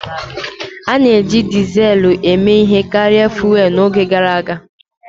A na-eji Dizelu eme ihe karịa fụ́élú n'oge gara aga